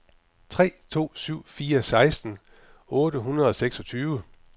tre to syv fire seksten otte hundrede og seksogtyve